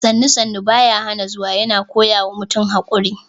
“Sannu-Sannu baya hana zuwa” yana koya wa mutum haƙuri